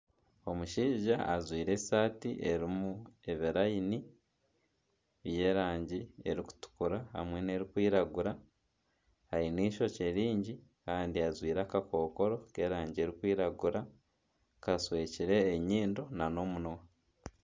Omushaija ajwaire esaati erimu ebirayini by'erangi erikutukura hamwe n'erikwiragura aine eishokye ryingi kandi ajwaire akakokoro k'erangi erikwiragura kashwekire enyindo na n'omunwa.